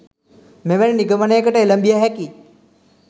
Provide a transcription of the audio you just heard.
මෙවැනි නිගමනයකට එළඹිය හැකි